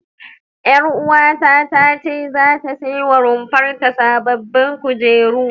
Ƴaruwata ta ce zata sai wa rumfar ta sababbin kujeru.